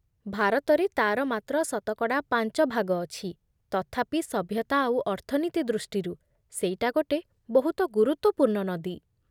ଭାରତରେ ତା'ର ମାତ୍ର ଶତକଡ଼ା ପାଞ୍ଚ ଭାଗ ଅଛି, ତଥାପି ସଭ୍ୟତା ଆଉ ଅର୍ଥନୀତି ଦୃଷ୍ଟିରୁ ସେଇଟା ଗୋଟେ ବହୁତ ଗୁରୁତ୍ୱପୂର୍ଣ୍ଣ ନଦୀ ।